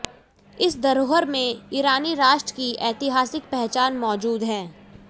इस धरोहर में ईरानी राष्ट्र की ऐतिहासिक पहचान मौजूद है